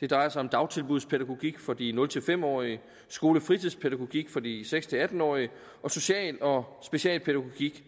det drejer sig om dagtilbudspædagogik for de nul fem årige skole og fritidspædagogik for de seks atten årige og social og specialpædagogik